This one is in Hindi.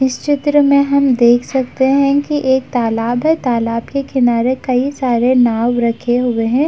इस चित्र में हम देख सकते हैं कि एक तालाब है। तालाब के किनारे कई सारे नाव रखे हुए हैं।